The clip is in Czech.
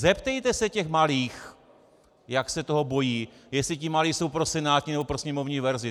Zeptejte se těch malých, jak se toho bojí, jestli ti malí jsou pro senátní, nebo pro sněmovní verzi.